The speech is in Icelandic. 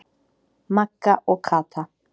Magga og Kata.